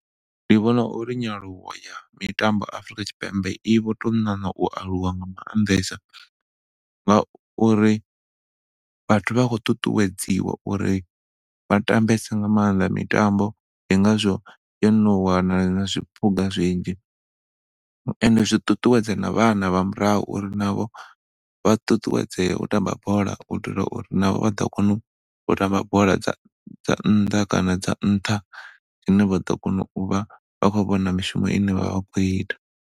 Ndi vhona uri nyaluwo ya mitambo Afurika Tshipembe i vho tou ṋaṋa u aluwa nga maanḓesa ngauri vhathu vha khou ṱuṱuwedziwa uri vha tambese nga maanḓa mitambo ndi ngazwo yo no wana na zwiphuga zwinzhi and zwi ṱuṱuwedza na vhana vha murahu uri na vho vha ṱuṱuwedzee u tamba bola u itela uri na vho vha ḓo kona u tamba bola dza nnḓa kana dza nṱha hune vha ḓo kona u vha vha khou vhona mishumo ine vhavha vha khou ita.